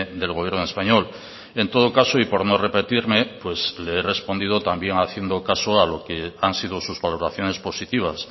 del gobierno español en todo caso y por no repetirme pues le he respondido también haciendo caso a lo que han sido sus valoraciones positivas